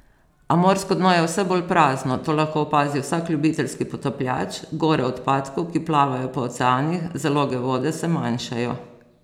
A morsko dno je vse bolj prazno, to lahko opazi vsak ljubiteljski potapljač, gore odpadkov, ki plavajo po oceanih, zaloge vode se manjšajo.